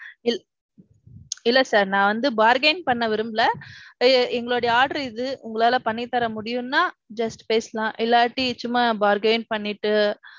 ~. இல்ல sir நான் வந்து bargain பண்ண விரும்பல எங்களுடைய order இது உங்களால பண்ணி தர முடியும்னா just பேசலாம். இல்லாட்டி சும்மா bargain பண்ணிட்டு,